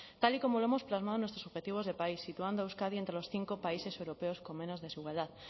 tal y como lo hemos plasmado en nuestros objetivos de país situando a euskadi entre los cinco países europeos con menos desigualdad